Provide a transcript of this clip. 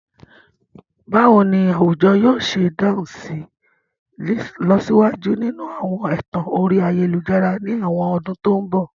Báwo ni àwùjọ yóò ṣe dáhùn sí ìlọsíwájú nínú àwọn ẹ̀tàn orí ayélujára ní àwọn ọdún tó ń bọ̀?